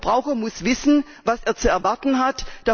Der Verbraucher muss wissen, was er zu erwarten hat.